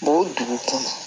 o dugu kɔnɔ